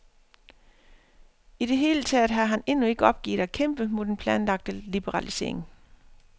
I det hele taget har han endnu ikke opgivet at kæmpe mod den planlagte liberalisering.